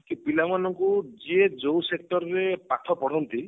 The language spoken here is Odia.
କି ପିଲାମାନଙ୍କୁ ଯିଏ ଯୋଉ sector ରେ ପାଠ ପଢନ୍ତି